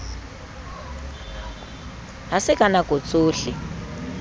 ha se ka nako tsohle